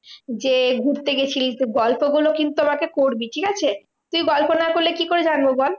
যে ঘুরতে গেছিলি গল্প গুলো কিন্তু আমাকে করবি, ঠিকাছে? তুই গল্প না করলে কি করে জানবো বল?